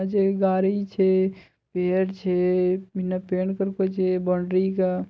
गाड़ी छे पेड़ छे बिना पेड़ कोई छै बॉन्डरी का--